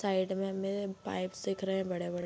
side में हमें bike दिख रहे हैं बड़े-बड़े |